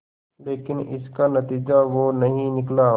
लेकिन इसका नतीजा वो नहीं निकला